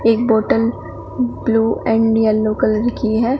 एक bottle blue and yellow colour की है।